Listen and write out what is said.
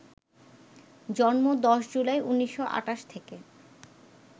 জন্ম ১০ জুলাই, ১৯২৮ থেকে